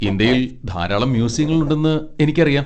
ഇന്ത്യയിൽ ധാരാളം മ്യൂസിയങ്ങൾ ഉണ്ടെന്ന് എനിക്കറിയാം.